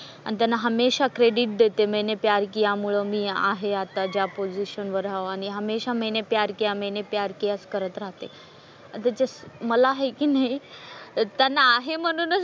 आणि त्यांना हमेशा क्रेडिट देते मैंने प्यार किया मुळं मी आहे आता ज्या पोझिशनवर आहे आणि हमेशा मैंने प्यार किया, मैंने प्यार किया च करत राहतंय. आता जसं मला हाय की नाही त्यांना आहे म्हणूनच,